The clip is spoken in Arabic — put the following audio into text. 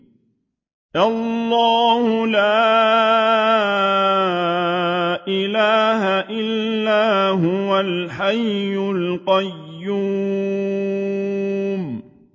اللَّهُ لَا إِلَٰهَ إِلَّا هُوَ الْحَيُّ الْقَيُّومُ